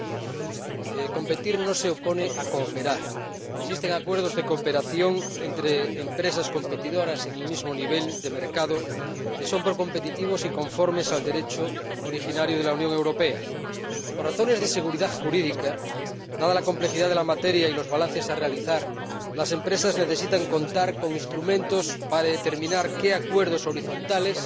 Señora Presidenta, queridos colegas, competir no se opone a cooperar. Existen acuerdos de cooperación entre empresas competidoras en el mismo nivel de mercado que son competitivos y conformes al Derecho originario de la Unión Europea. Por razones de seguridad jurídica, dada la complejidad de la materia y los balances que se han de realizar, las empresas necesitan contar con instrumentos para determinar qué acuerdos horizontales